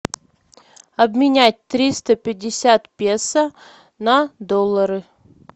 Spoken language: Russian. обменять триста пятьдесят песо на доллары